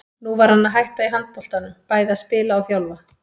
Nú var hann að hætta í handboltanum, bæði að spila og þjálfa.